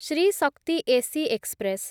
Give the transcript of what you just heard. Shri Shakti AC express